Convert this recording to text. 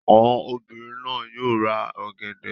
Àwọn obìnrin náà yóò ra ọ̀gẹ̀dẹ̀.